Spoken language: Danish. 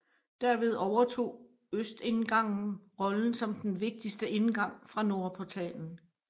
Derved overtog østindgangen rollen som den vigtigste indgang fra nordportalen